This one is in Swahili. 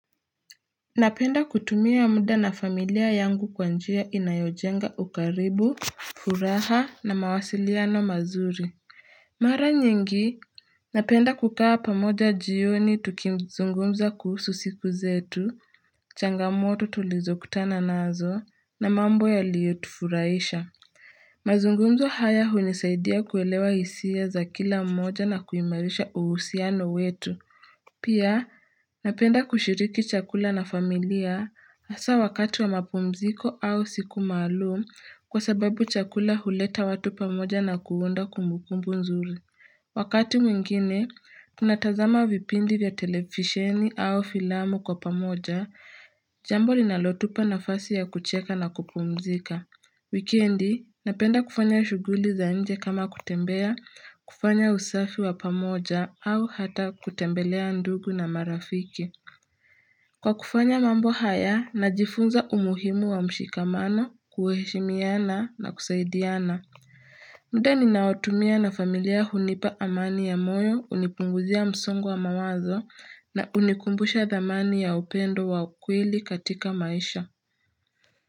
Napenda kutumia muda na familia yangu kwa njia inayojenga ukaribu, furaha na mawasiliano mazuri. Mara nyingi, napenda kukaa pamoja jioni tukizungumza kuhusu siku zetu, changamoto tulizo kutana nazo, na mambo yaliyo tufurahisha. Mazungumzo haya hunisaidia kuelewa hisia za kila mmoja na kuimarisha uhusiano wetu. Pia, napenda kushiriki chakula na familia hasa wakati wa mapumziko au siku maalum kwa sababu chakula huleta watu pamoja na kuunda kumbukumbu nzuri. Wakati mwingine, tunatazama vipindi vya televisheni au filamu kwa pamoja, jambo linalotupa nafasi ya kucheka na kupumzika. Wikendi, napenda kufanya shuguli za nje kama kutembea, kufanya usafi wa pamoja au hata kutembelea ndugu na marafiki. Kwa kufanya mambo haya, najifunza umuhimu wa mshikamano, kuheshimiana na kusaidiana. Muda ni naotumia na familia hunipa amani ya moyo hunipunguzia msongo wa mawazo na hunikumbusha dhamani ya upendo wa ukweli katika maisha.